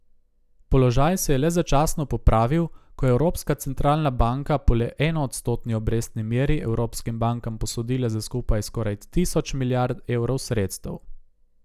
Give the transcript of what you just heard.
Položaj se je le začasno popravil, ko je Evropska centralna banka po le enoodstotni obrestni meri evropskim bankam posodila za skupaj skoraj tisoč milijard evrov sredstev.